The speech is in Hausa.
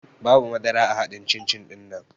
Babu madara a haɗin cin-cin ɗinnan